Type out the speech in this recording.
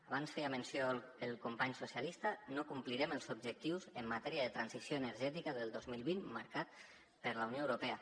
abans en feia menció el company socialista no complirem els objectius en matèria de transició energètica del dos mil vint marcats per la unió europea